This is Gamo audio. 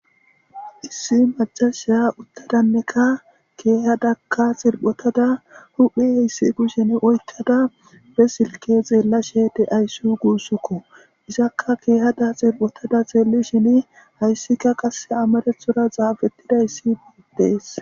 issi macasha uttadanneka keehadakka xilphotada huphi heyssi kushin oykkada be silke xeella she de ayssi guussukko isakka keehada xilphotada xeelli shini hayssika qasse amarethora xaafettida issi beetidees.